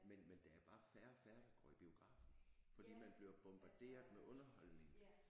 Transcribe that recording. Men men der er bare færre og færre der går i biografen fordi man bliver bombarderet med underholdning